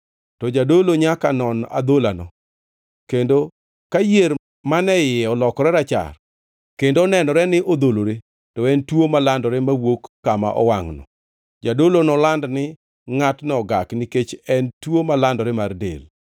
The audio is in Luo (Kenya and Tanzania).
to jadolo nyaka non adholano, kendo ka yier mane iye olokore rachar, kendo onenore ni odholore, to en tuo malandore mowuok kama owangʼno. Jadolo noland ni ngʼatno ogak; nikech en tuo malandore mar del.